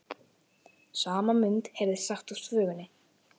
sama mund heyrðist sagt úr þvögunni